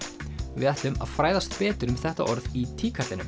við ætlum að fræðast betur um þetta orð í